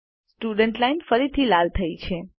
students line ફરીથી લાલ થઇ છે